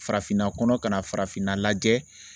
Farafinna kɔnɔ ka na farafinna lajɛ